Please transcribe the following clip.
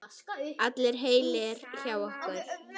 Allir heilir hjá ykkur?